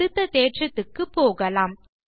அடுத்த தேற்றத்துக்கு போகலாம்